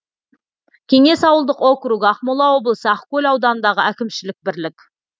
кеңес ауылдық округі ақмола облысы ақкөл ауданындағы әкімшілік бірлік